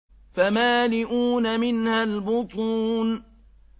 فَمَالِئُونَ مِنْهَا الْبُطُونَ